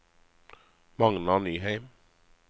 Magnar Nyheim